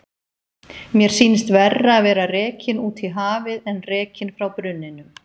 Mér sýnist verra að vera rekinn út í hafið en rekinn frá brunninum